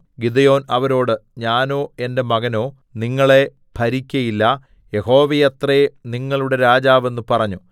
Gideon അവരോട് ഞാനോ എന്റെ മകനോ നിങ്ങളെ ഭരിക്കയില്ല യഹോവയത്രേ നിങ്ങളുടെ രാജാവ് എന്ന് പറഞ്ഞു